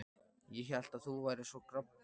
Ég hélt að þú værir svo grobbinn.